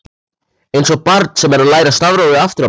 Einsog barn sem er að læra stafrófið aftur á bak.